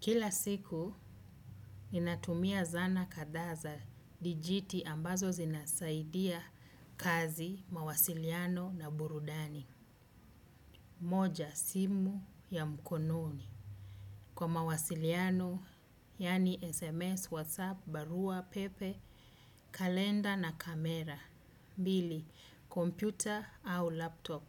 Kila siku, ninatumia zana kadha za, dijiti ambazo zinasaidia kazi, mawasiliano na burudani. Moja, simu ya mkononi. Kwa mawasiliano, yani SMS, WhatsApp, barua, pepe, kalenda na kamera. Mbili, kompyuta au laptop.